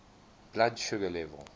blood sugar level